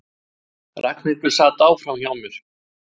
Ragnhildur sat áfram hjá mér.